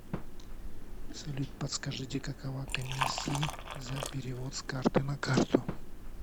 салют подскажите какова комиссии за перевод с карты на карту